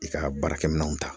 I ka baarakɛminanw ta